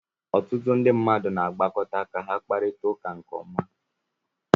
Ọtụtụ ndị mmadụ na-agbakọta ka ha kparịta ụka nke ọma